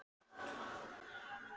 Er hægt að halda þessu áfram?